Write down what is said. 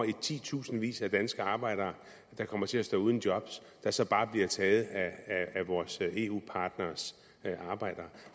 i titusindvis af danske arbejdere der kommer til at stå uden job der så bare bliver taget af vores eu partneres arbejdere